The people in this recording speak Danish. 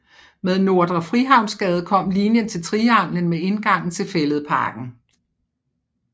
Med Nordre Frihavnsgade kom linjen til Trianglen med indgangen til Fælledparken